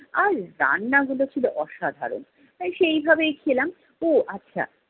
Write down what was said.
আর রান্নাগুলো ছিলো অসাধারন। তাই সেইভাবেই খেলাম। ও আচ্ছা,